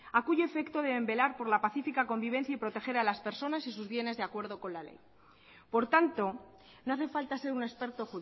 a cuyo efecto deben velar por la pacífica convivencia y proteger a las personas y sus bienes de acuerdo con la ley por tanto no hace falta ser un experto